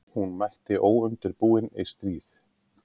Hún mætti óundirbúin í stríð.